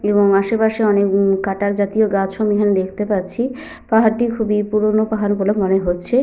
এবং আশেপাশে অনেক উম কাঁটা জাতীয় গাছও আমি এখানে দেখতে পাচ্ছি। পাহাড়টি খুবই পুরোনো পাহাড় বলে মনে হচ্ছে।